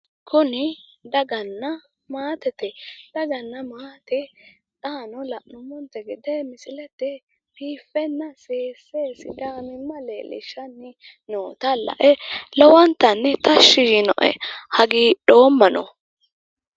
Kuni daganna maatete, daganna maate xaano la'nummonte gede misilete biiffenna biiffe sidaamimma leellishshanni noota lae lowonta tashshi yiinoe. hagiidhoommano.